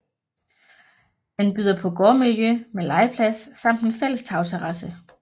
Den byder på gårdmiljø med legeplads samt en fælles tagterrasse